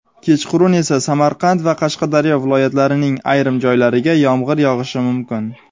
kechqurun esa Samarqand va Qashqadaryo viloyatlarining ayrim joylariga yomg‘ir yog‘ishi mumkin.